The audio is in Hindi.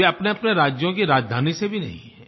वे अपनेअपने राज्यों की राजधानी से भी नहीं हैं